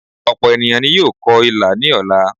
Òpò ènìyàn ni yóò kọ ilà ní ọ̀la